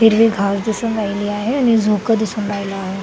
हिरवी घास दिसून राहिली आहे आणि झोका दिसून राहीला आहे.